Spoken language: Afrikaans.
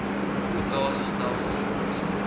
rota sie stelsels